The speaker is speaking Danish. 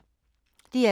DR2